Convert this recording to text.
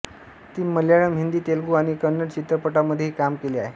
ती मल्याळम हिंदी तेलगू आणि कन्नड चित्रपटांमध्येही काम केले आहे